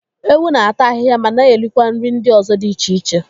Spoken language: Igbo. Ewu na-ata ahịhịa mana erikwa nri ndị ọzọ dị iche iche.